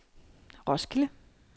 Roskilde